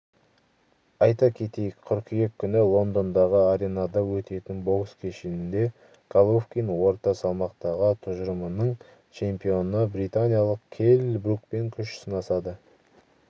айта кетейік қыркүйек күні лондондағы аренада өтетін бокс кешінде головкин орта салмақтағы тұжырымының чемпионы британиялық келл брукпен күш сынасады